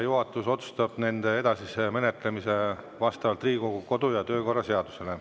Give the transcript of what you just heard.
Juhatus otsustab nende edasise menetlemise vastavalt Riigikogu kodu‑ ja töökorra seadusele.